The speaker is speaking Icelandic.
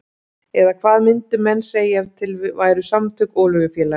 Eða hvað myndu menn segja ef til væru samtök olíufélaga?